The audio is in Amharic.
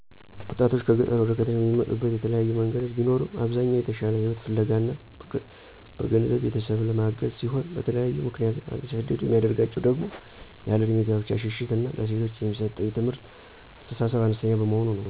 ወጣቶችን ከገጠር ወደ ከተሞች የሚመጡበት የተለያዩ መንገዶች ቢኖርም አብዛኛው የተሻለ ህይወት ፍለጋ እና በገንዘብ ቤተሰብን ለማገዝ ሲሆን በተለያዬ ምክንያት እንዲሰደዱ የሚያደርጋቸው ደሞ ያለእድሜ ጋብቻ ሽሽት እና ለሴቶች የሚሰጠው የትምህርት አስተሳሰብ አነስተኛ በመሆኑ ነው።